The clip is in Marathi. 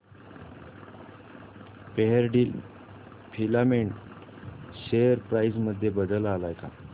फेयरडील फिलामेंट शेअर प्राइस मध्ये बदल आलाय का